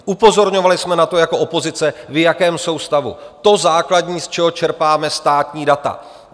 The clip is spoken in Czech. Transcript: Upozorňovali jsme na to jako opozice, v jakém jsou stavu - to základní, z čeho čerpáme státní data.